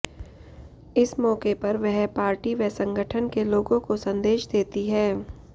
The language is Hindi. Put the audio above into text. इस मौके पर वह पार्टी व संगठन के लोगों को संदेश देती हैं